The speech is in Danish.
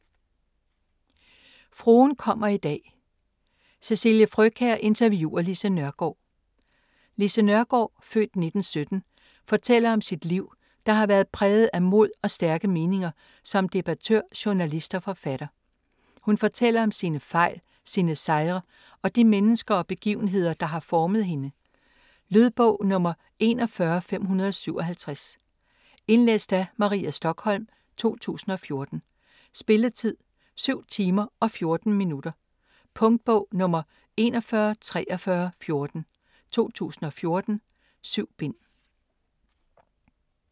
Fruen kommer i dag: Cecilie Frøkjær interviewer Lise Nørgaard Lise Nørgaard (f. 1917) fortæller om sit liv, der har været præget af mod og stærke meninger som debattør, journalist og forfatter. Hun fortæller om sine fejl, sine sejre og de mennesker og begivenheder, der har formet hende. Lydbog 41557 Indlæst af Maria Stokholm, 2014. Spilletid: 7 timer, 14 minutter. Punktbog 414314 2014. 7 bind.